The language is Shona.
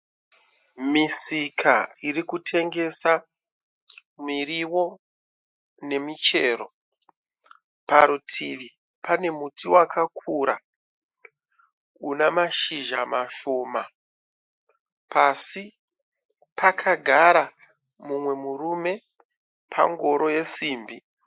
Misika irikutengesa mirio nemichero. Parutivi pane muti wakakura una mashizha mashoma. Pasi pakagara mumwe murume pangoro yesimbi.